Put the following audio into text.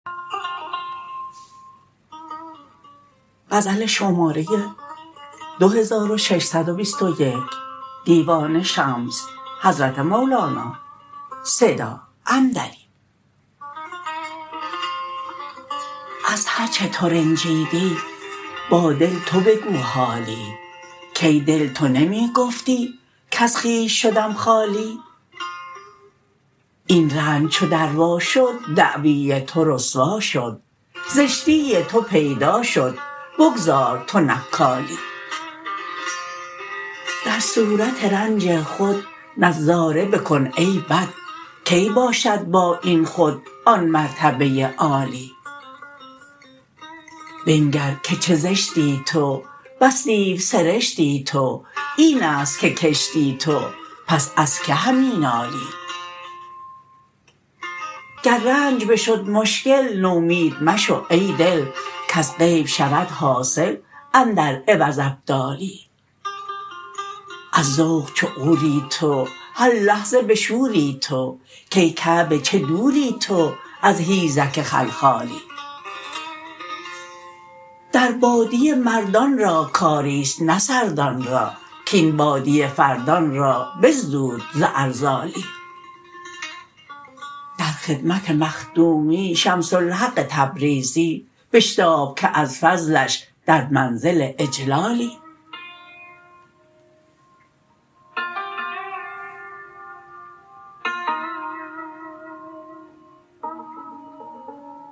از هر چه ترنجیدی با دل تو بگو حالی کای دل تو نمی گفتی کز خویش شدم خالی این رنج چو در وا شد دعوی تو رسوا شد زشتی تو پیدا شد بگذار تو نکالی در صورت رنج خود نظاره بکن ای بد کی باشد با این خود آن مرتبه عالی بنگر که چه زشتی تو بس دیوسرشتی تو این است که کشتی تو پس از کی همی نالی گر رنج بشد مشکل نومید مشو ای دل کز غیب شود حاصل اندر عوض ابدالی از ذوق چو عوری تو هر لحظه بشوری تو کای کعبه چه دوری تو از حیزک خلخالی در بادیه مردان را کاری است نه سردان را کاین بادیه فردان را بزدود ز ارذالی در خدمت مخدومی شمس الحق تبریزی بشتاب که از فضلش در منزل اجلالی